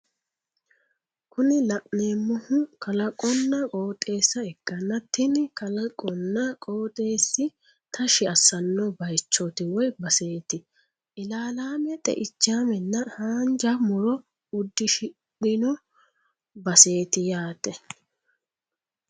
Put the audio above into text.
Kuni la'neemohu kalaqonna qoxeessa ikkanna tini kalaqonna qoxeessi tashshi asanno bayichooti woy baseeti ilaalaame xe'ichaamenna hanja muro udishino baseeti yaate.